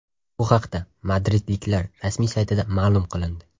Bu haqda madridliklar rasmiy saytida ma’lum qilindi .